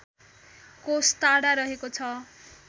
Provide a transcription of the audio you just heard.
कोष टाढा रहेको छ